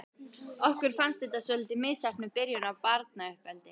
Okkur fannst þetta svolítið misheppnuð byrjun á barnauppeldi.